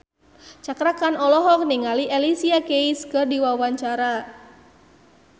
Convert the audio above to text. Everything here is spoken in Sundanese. Cakra Khan olohok ningali Alicia Keys keur diwawancara